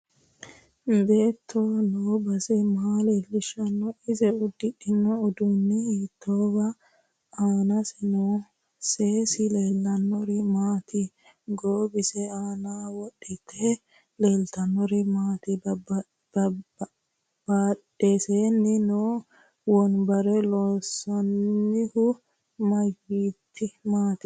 Beeto noo base maa leelishanno ise udidhino uddanno hiitoote aanase noo seesi leelishanori maati goowise aana wodhite leeltanori maati badheseeni noo wonbare loonsoonihu mayiiniti